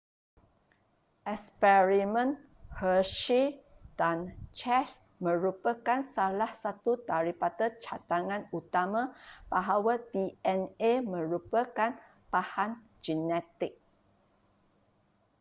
eksperimen hershey dan chase merupakan salah satu daripada cadangan utama bahawa dna merupakan bahan genetik